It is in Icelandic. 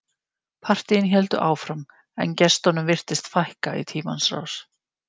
Partíin héldu áfram en gestunum virtist fækka í tímans rás.